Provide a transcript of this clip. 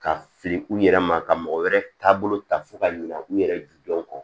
Ka fili u yɛrɛ ma ka mɔgɔ wɛrɛ taabolo ta fo ka ɲina u yɛrɛ jujɔn kɔ